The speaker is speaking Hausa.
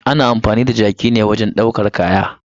Ana amfani da jaki ne wajen ɗaukar kaya.